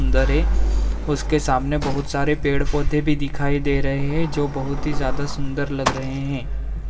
अंदर है उसके सामने बहुत सारे पेड़ पौधे भी दिखाई दे रहे है जो बहुत ही ज्यादा सुन्दर लग रहे है।